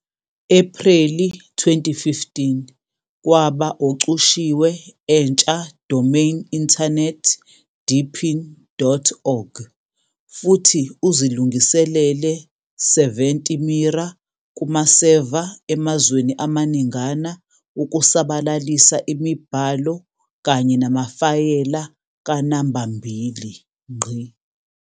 Ephreli 2015 kwaba ocushiwe entsha domain Internet deepin.org futhi uzilungiselele 70 mirror kumaseva emazweni amaningana ukusabalalisa imibhalo kanye namafayela kanambambili.